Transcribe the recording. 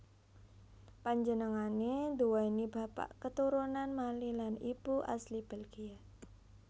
Panjenengané nduwèni bapak keturunan Mali lan ibu asli Belgia